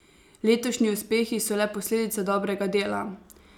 Letošnji uspehi so le posledica dobrega dela.